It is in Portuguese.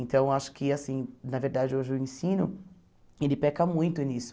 Então, acho que, assim na verdade, hoje o ensino ele peca muito nisso.